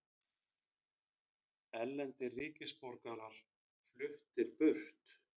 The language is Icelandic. Erlendir ríkisborgarar fluttir burt